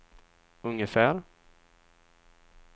ungefär